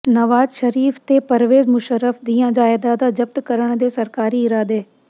ਨਵਾਜ਼ ਸ਼ਰੀਫ਼ ਤੇ ਪਰਵੇਜ਼ ਮੁਸ਼ੱਰਫ਼ ਦੀਆਂ ਜਾਇਦਾਦਾਂ ਜ਼ਬਤ ਕਰਨ ਦੇ ਸਰਕਾਰੀ ਇਰਾਦੇ